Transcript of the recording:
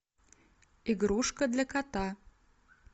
игрушка для кота